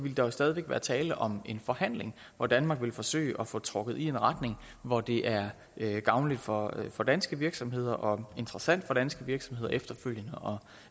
jo stadig væk være tale om en forhandling hvor danmark vil forsøge at få det trukket i en retning hvor det er gavnligt for for danske virksomheder og interessant for danske virksomheder efterfølgende